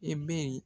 I bɛ